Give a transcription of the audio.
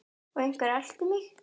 Og einhver elti mig.